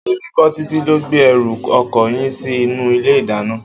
Èmi kọ́, Títí ló gbé ẹrù ọkọ yín sí inú ilé-ìdáná.